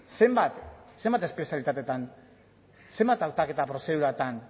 zenbat zenbait espezialitatetan zenbat hautaketa prozeduratan